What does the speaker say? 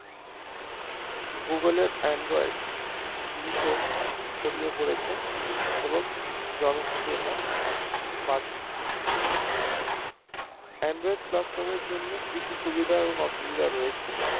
google এর android দ্রুত ছড়িয়ে পড়েছে এবং জনপ্রিয়তা বাড়ছে android customer এর জন্য কিছু সুবিধা এবং অসুবিধা রয়েছে